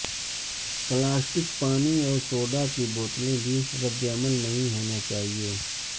plastic پانی اور soda کی بوتلیں بھی رد عمل نہیں ہونا چاہئے